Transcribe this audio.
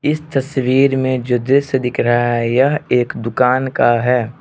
इस तस्वीर में जो दृश्य दिख रहा है यह एक दुकान का है।